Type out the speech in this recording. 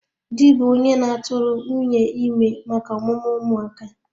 Di bụ onye na-atụrụ nwunye ime maka ọmụmụ ụmụ aka